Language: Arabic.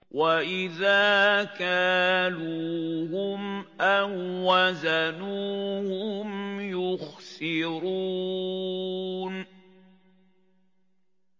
وَإِذَا كَالُوهُمْ أَو وَّزَنُوهُمْ يُخْسِرُونَ